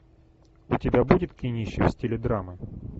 у тебя будет кинище в стиле драмы